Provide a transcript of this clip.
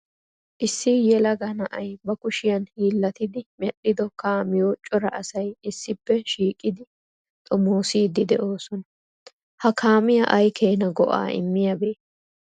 Issi yelaga na'ay ba kushiya hiilatidi medhdhido kaamiyo cora asay issippe shiiqidi xoomossidi de'oosona. Ha kaamiya ay keena go"a immiyaabe?